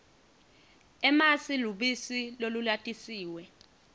emasi lubisi lolulatisiwe